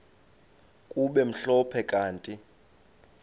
kube mhlophe kanti